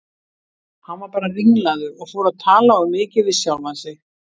Hann var bara ringlaður og fór að tala of mikið við sjálfan sig.